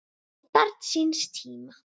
Barn síns tíma?